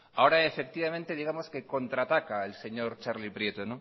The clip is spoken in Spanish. ahora efectivamente digamos que contraataca el señor txarli prieto